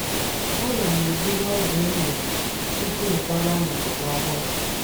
A na m eburu m ogwù e nyere m tupu m kwàgà n’obodo ọhụrụ.